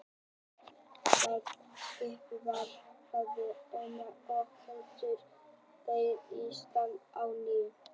Stærra skipið var hlaðið nauðsynjum og héldu þeir til Íslands á ný.